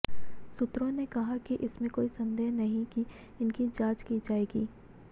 सूत्रों ने कहा कि इसमें कोई संदेह नहीं कि इनकी जांच की जाएगी